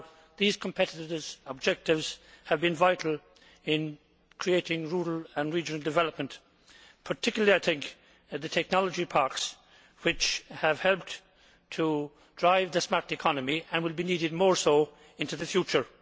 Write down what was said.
These competitiveness objectives have been vital in creating rural and regional development particularly the technology parks, which have helped to drive the smart economy and will be needed more so into the future.